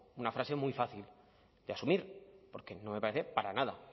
una frase muy fácil de asumir porque no me parece para nada